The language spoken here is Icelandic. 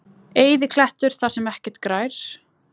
Eyðiklettur þar sem ekkert grær?